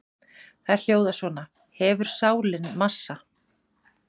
Þær hljóða svona: Hefur sálin massa?